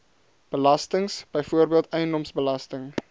belastings byvoorbeeld eiendomsbelasting